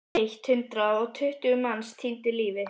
Eitt hundrað og tuttugu manns týndu lífi.